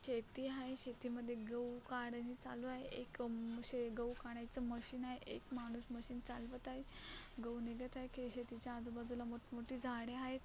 शेती आहे शेतीमध्ये गहू काढणी चालू आहे एक मसे गहू काढायच मशीन आहे एक माणूस मशीन चालवत आहे गहू निघत आहे शेतीच्या आजूबाजूला मोठ मोठी झाडे आहेत.